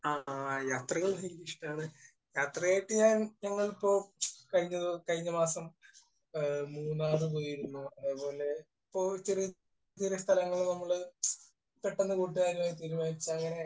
ആഹ്. അത്രയും, അത്രയുമൊക്കെ ഞങ്ങളിപ്പോൾ കഴിഞ്ഞ മാസം മൂന്നാർ പോയിരുന്നു. അതുപോലെ സ്ഥലങ്ങൾ നമ്മൾ പെട്ടെന്ന് കൂട്ടുകാരുമായിട്ട് അങ്ങനെ